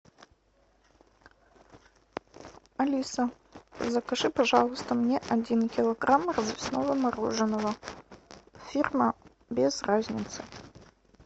алиса закажи пожалуйста мне один килограмм развесного мороженого фирма без разницы